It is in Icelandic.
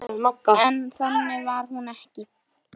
En þannig var hún ekki.